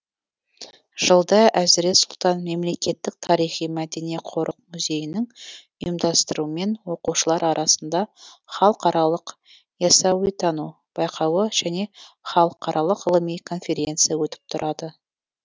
жылда әзірет сұлтан мемлекеттік тарихи мәдени қорық музейінің ұйымдастыруымен оқушылар арасында халықаралық ясауитану байқауы және халықаралық ғылыми конференция өтіп тұрады